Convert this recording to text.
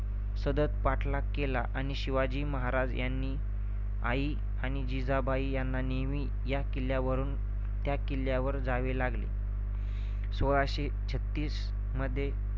सतत पाठलाग केला. आणि शिवाजी महाराज आणि आई जिजाबाई यांना नेहमी या किल्ल्यावरून त्या किल्ल्यावर जावे लागले. सोळाशे छत्तीस मध्ये